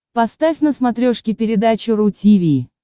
поставь на смотрешке передачу ру ти ви